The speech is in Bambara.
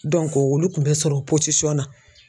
olu kun tɛ sɔrɔ o na